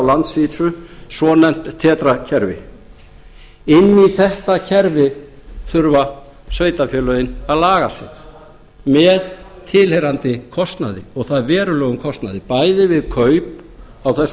landsvísu svonefnt tetra kerfi inn í þetta kerfi þurfa sveitarfélögin að laga sig með tilheyrandi kostnaði og það verulegum kostnaði bæði við kaup á þessum